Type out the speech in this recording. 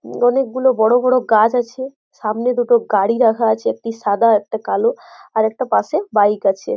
অনেক গুলো বড় বড় গাছ আছে সামনে দুটো গাড়ি রাখা আছে একটি সাদা একটি কালো আর একটা পাশে বাইক আছে।